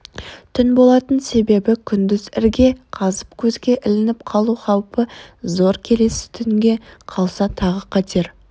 түн болатын себебі күндіз ірге қазып көзге ілініп қалу хаупі зор келесі түнге қалса тағы қатер